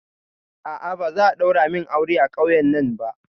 A'a, ba za'a ɗaura min aure a ƙauyen nan ba